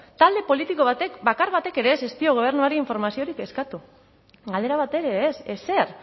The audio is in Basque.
talde politiko bakar batek ere ez dio gobernuari informaziorik eskatu galdera bat ere ez ezer